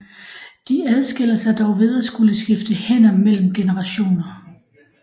De adskiller sig dog ved at skulle skifte hænder mellem generationer